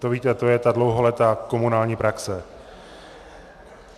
To víte, to je ta dlouholetá komunální praxe.